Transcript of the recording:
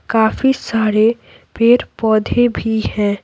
काफी सारे पेड़-पौधे भी हैं।